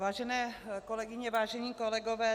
Vážené kolegyně, vážení kolegové.